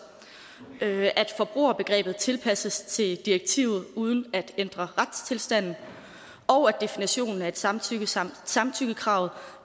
at forbrugerbegrebet tilpasses til direktivet uden at ændre retstilstanden og at definitionen af samtykkekravet samtykkekravet